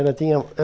Ela tinha eh